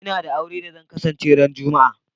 N'na da auren da zan kasance ran Juma'a.